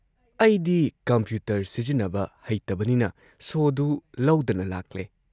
ꯑꯩꯗꯤ ꯀꯝꯄ꯭ꯌꯨꯇꯔ ꯁꯤꯖꯤꯟꯅꯕ ꯍꯩꯇꯕꯅꯤꯅ ꯁꯣꯗꯨ ꯂꯧꯗꯅ ꯂꯥꯛꯂꯦ ꯫